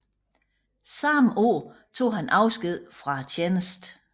Samme år tog han afsked fra tjenesten